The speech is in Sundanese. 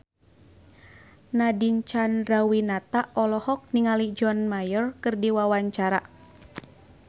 Nadine Chandrawinata olohok ningali John Mayer keur diwawancara